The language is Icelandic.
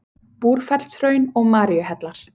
Búrfellshraun og Maríuhellar.